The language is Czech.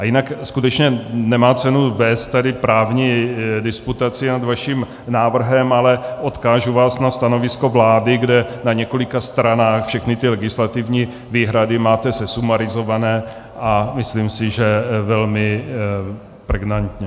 A jinak skutečně nemá cenu vést tady právní disputaci nad vaším návrhem, ale odkážu vás na stanovisko vlády, kde na několika stranách všechny ty legislativní výhrady máte sesumarizované, a myslím si, že velmi pregnantně.